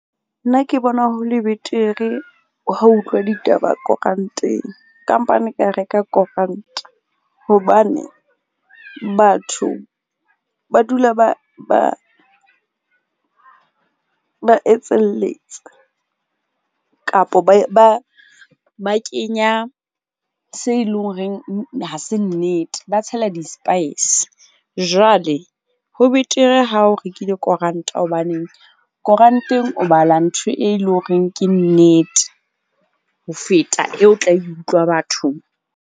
Nna ke bona ho le betere ha o utlwa ditaba koranteng kampane ka reka koranta. Hobane batho ba dula ba etselletsa kapo ba kenya se eleng horeng ha se nnete. Ba tshela di-spice jwale ho betere ha o rekile koranta hobaneng koranteng o bala ntho e leng horeng. Ke nnete ho feta eo o tla e utlwa bathong.